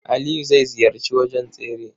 Aliyu zai ziyarci wajen tsere.